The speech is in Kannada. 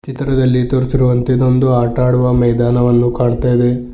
ಚಿತ್ರದಲ್ಲಿ ತೋರಿಸಿರುವಂತೆ ಇದೊಂದು ಆಟ ಆಡುವ ಮೈದಾನವನ್ನು ಕಾಣ್ತಾ ಇದೆ.